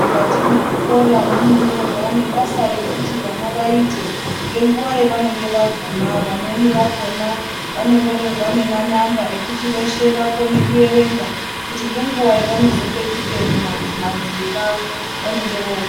Mukati mwezvikora munonyorwa nebasa rekuti vana vaite, ngenguwa yevanenge vaguma, vamweni vakhona, vanonyorerwa nemanamba ekuti veshe vakone kuerenga, kuti ngenguwa yevanozopetuka kumadzimphatso kwawo, vanenge vokona.